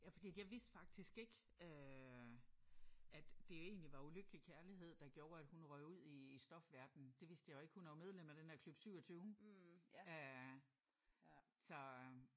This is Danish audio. Ja fordi jeg vidste faktisk ikke at øh det jo egentlig var ulykkelig kærlighed der gjorde at hun røg ud i stofverdenen. Det vidste jeg jo ikke. Hun er jo medlem af den der klub 27 ja så